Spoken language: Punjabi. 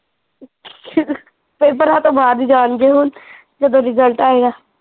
ਪੇਪਰਾ ਤੋਂ ਬਾਦ ਈ ਜਾਣਗੇ ਹੁਣ, ਜਦੋਂ ਰਿਜਲਟ ਆਏਗਾ